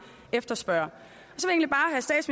efterspørger